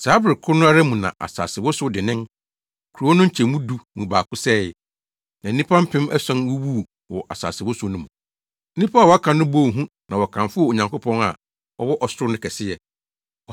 Saa bere koro no ara mu na asase wosow denneennen, kurow no nkyɛmu du mu baako sɛee, na nnipa mpem ason wuwuu wɔ asasewosow no mu. Nnipa a wɔaka no bɔɔ hu na wɔkamfoo Onyankopɔn a ɔwɔ ɔsoro no kɛseyɛ.